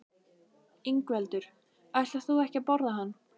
Ingveldur: Ætlar þú ekki að borða hann?